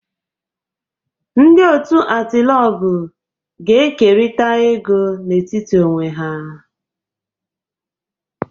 Ndị otu Atilogwu ga-ekerịta ego n'etiti onwe ha